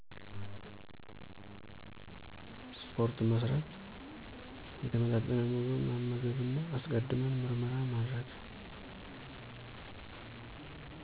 ስፓርት መስራት፣ የተመጣጠነ ምግብ መመገብ እና አስቀድመን ምርመራ ማድረግ።